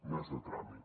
no és de tràmit